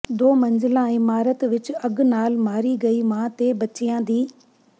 ਦੋ ਮੰਜ਼ਲਾ ਇਮਾਰਤ ਵਿਚ ਅੱਗ ਨਾਲ ਮਾਰੀ ਗਈ ਮਾਂ ਤੇ ਬੱਚਿਆਂ ਦੀ